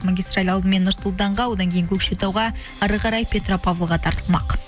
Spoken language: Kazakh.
магистраль алдымен нұр сұлтанға одан кейін көкшетауға әрі қарай петропавлға тартылмақ